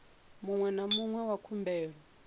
muṅwe na muṅwe wa khumbelo